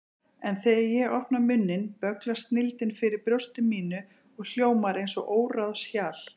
En þegar ég opna munninn bögglast snilldin fyrir brjósti mínu og hljómar eins og óráðshjal.